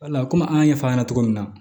Wala komi an y'a ɲɛfɔ a ɲɛna cogo min na